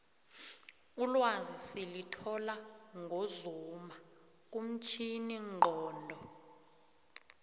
ulwazi silithola ngozuma kumtjhini nqondo